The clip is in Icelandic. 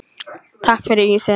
Takk fyrir ísinn.